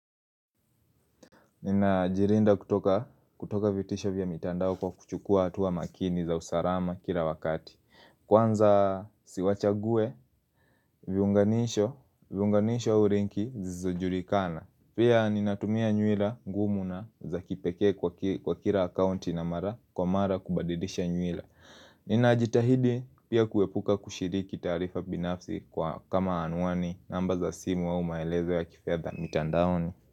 Nina jirinda kutoka kutoka vitisho vya mitandao kwa kuchukua hatuwa makini za usarama kira wakati. Kwanza si wachague, viunganisho, viunganisho au linki zizojulikana. Pia ninatumia nyuila ngumu na za kipekee kwa kira accounti na mara kwa mara kubadidisha nyuila. Nina jitahidi pia kuepuka kushiriki taarifa binafsi kama anuani namba za simu wa au maelezo wa kifedha mitandaoni.